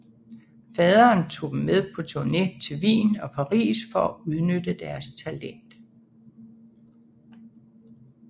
Faderen tog dem med på turné til Wien og Paris for at udnytte deres talent